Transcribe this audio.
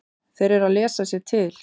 Þeir eru að lesa sér til.